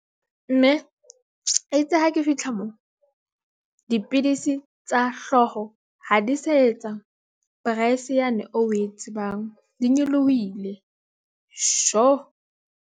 Mme e itse ha ke fihla moo dipidisi tsa hlooho ha di sa etsa price yane o e tsebang, di nyolohile .